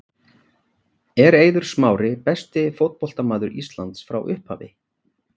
Er Eiður Smári besti fótboltamaður Íslands frá upphafi?